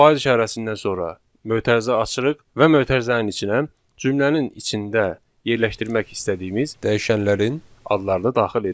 Faiz işarəsindən sonra mötərizə açırıq və mötərizənin içinə cümlənin içində yerləşdirmək istədiyimiz dəyişənlərin adlarını daxil edirik.